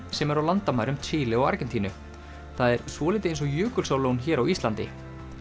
sem er á landamærum Síle og Argentínu það er svolítið eins og Jökulsárlón hér á Íslandi